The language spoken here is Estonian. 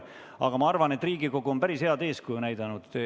Aga ma arvan, et Riigikogu on päris head eeskuju näidanud.